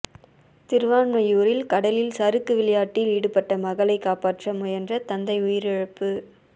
திருவான்மியூரில் கடலில் சறுக்கு விளையாட்டில் ஈடுபட்ட மகளை காப்பாற்ற முயன்ற தந்தை உயிரிழப்பு